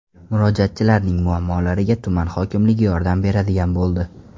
Murojaatchilarning muammolariga tuman hokimligi yordam beradigan bo‘ldi.